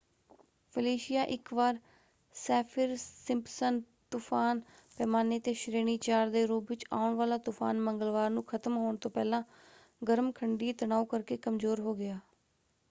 Felicia ਇੱਕ ਵਾਰ Saffir Simpson ਤੁਫ਼ਾਨ ਪੈਮਾਨੇ 'ਤੇ ਸ਼੍ਰੇਣੀ 4 ਦੇ ਰੂਪ ਵਿੱਚ ਆਉਣ ਵਾਲਾ ਤੂਫਾਨ ਮੰਗਲਵਾਰ ਨੂੰ ਖਤਮ ਹੋਣ ਤੋਂ ਪਹਿਲਾਂ ਗਰਮ ਖੰਡੀ ਤਣਾਉ ਕਰਕੇ ਕਮਜ਼ੋਰ ਹੋ ਗਿਆ।